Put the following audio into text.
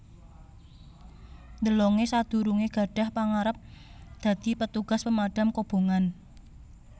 DeLonge sadurungé gadhah pangarep dadi petugas pemadham kobongan